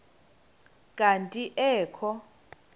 kanti ee kho